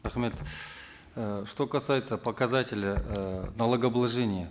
рахмет э что касается показателя э налогообложения